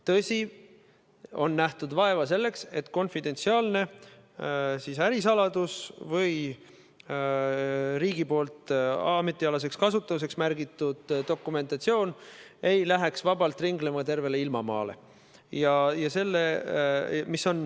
Tõsi, on nähtud vaeva, et konfidentsiaalne ärisaladus või riigi poolt ametialaseks kasutamiseks märgitud dokumentatsioon ei läheks vabalt ringlema mööda tervet ilmamaad.